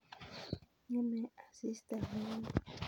Ngemei asista logoek